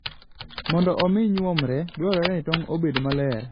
Mondo omi nyuomre, dwarore ni tong' obed maler.